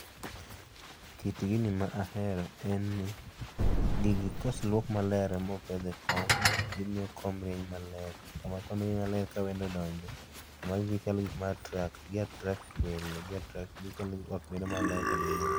Kit gini ma ahero en ni gigi koseluok maler mopedh e kom gimiyo kom rieny maler, kama kine ka wendo odonjo, magi gikma attract, gi attract welo, gi attract, giketo ot bedo maler kendo nyien